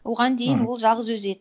оған дейін ол жалғыз өзі еді